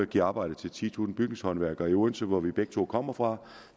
giver arbejde til titusind bygningshåndværkere i odense hvor vi begge to kommer fra